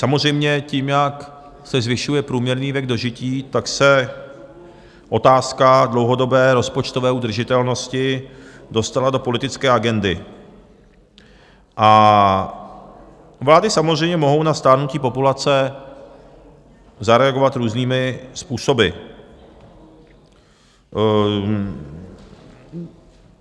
Samozřejmě tím, jak se zvyšuje průměrný věk dožití, tak se otázka dlouhodobé rozpočtové udržitelnosti dostala do politické agendy a vlády samozřejmě mohou na stárnutí populace zareagovat různými způsoby.